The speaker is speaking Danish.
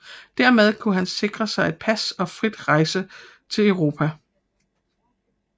Dermed kunne han sikre sig et pas og frit rejse til Europa